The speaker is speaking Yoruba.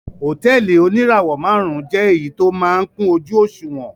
Hòtẹ́ẹ́lì oníràwọ̀-márùn-ún jẹ́ èyí tó máa ń kún ojú-òṣùwọ̀n.